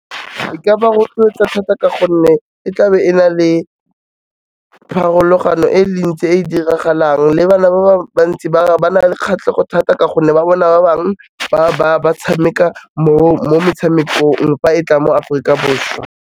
E ka ba rotloetsa thata ka gonne e tlabe e na le pharologano e le mentsi e diragalang le bana ba bantsi ba na le kgatlhego thata ka gonne ba bona ba bangwe ba tshameka mo metshamekong fa e tla mo Aforika Borwa.